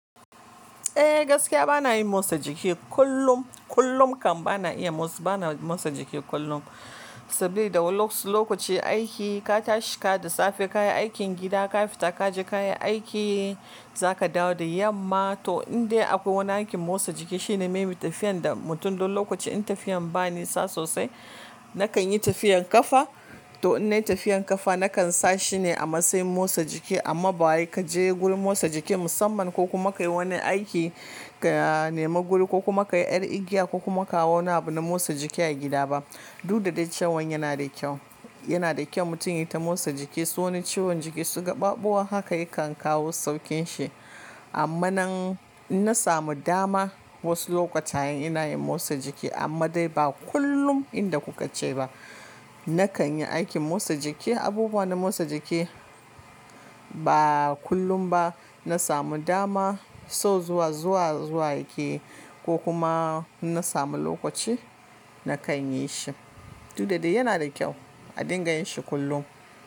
Eh gaskiya bana yin motsa jiki kullum. Kullum kam bana iya motsa, bana motsa jiki kullum. Sabida da wasu lokaci aiki ka tashi da safe ka yi aikin gida, ka fita ka je ka yi aiki, za ka dawo da yamma. To in dai akwai wani aikin motsa jiki shine maybe tafiyan da mutum wani lokaci in tafiyan ba ni sa sosai, na kan yi tafiyan kafa. To in nai tafiyan kafa na kan sa shine a matsayin motsa jiki amma ba wai ka je gurin motsa jiki musamman ko kuma ka yi wani aiki ka nema guri ko kuma ka yi yar igiya ko kuma ka hau wani abu na motsa jiki a gida ba. Du da dai cewan yana da kyau, yana da kyau mutum ya yi ta motsa jiki. Sabida wani ciwon jiki su gaɓaɓu haka ya kan kawo saukinsu. Amma nan in na samu dama wasu lokutan ina yin motsa jiki amma dai ba kullum yanda kuka ce ba. Na kan yi aikin motsa jiki, abubuwa na motsa jiki ba kullum ba. Na samu dama, so zuwa, zuwa, zuwa yake, ko kuma in na samu lokaci, na kan yi shi. Du da dai yana da kyau a dinga yin shi kullum.